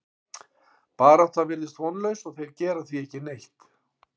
Baráttan virðist vonlaus og þeir gera því ekki neitt.